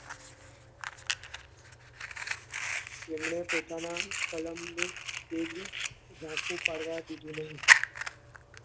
તેમણે પોતાના કલમને કેદી ઝાંખું પાડવા દીધું નહી.